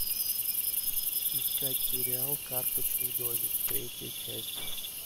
искать сериал карточный домик третья часть